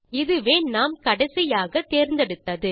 இதுவே நாம் கடைசியாக தேர்ந்தெடுத்தது